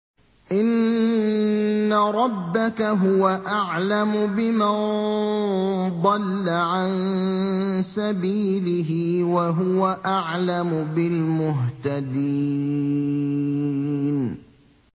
إِنَّ رَبَّكَ هُوَ أَعْلَمُ بِمَن ضَلَّ عَن سَبِيلِهِ وَهُوَ أَعْلَمُ بِالْمُهْتَدِينَ